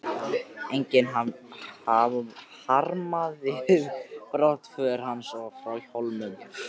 Enginn harmaði brottför hans frá Hólum.